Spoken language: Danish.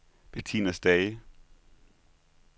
Betina Stage